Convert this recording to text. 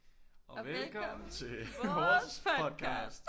Og velkommen til vores podcast